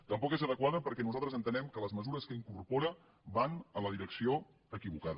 tampoc és adequada perquè nosaltres entenem que les mesures que incorpora van en la direcció equivocada